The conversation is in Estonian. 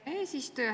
Aitäh, eesistuja!